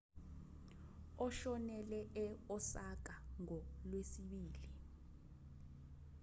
ushonele e-osaka ngolwesibili